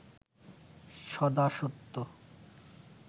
সদা সত্য